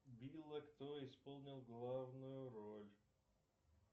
билла кто исполнил главную роль